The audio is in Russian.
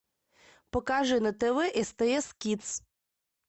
покажи на тв стс кидс